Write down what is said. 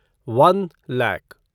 one lakh